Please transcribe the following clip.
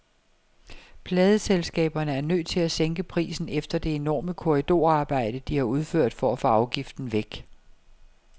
Pladeselskaberne er nødt til at sænke prisen efter det enorme korridorarbejde, de har udført for at få afgiften væk.